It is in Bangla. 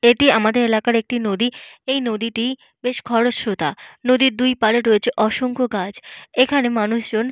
এটি আমাদের এলাকার একটি নদী। এই নদীটি বেশ খরস্রোতা। নদীর দুইপাড়ে রয়েছে অসংখ্য গাছ। এখানে মানুষজন --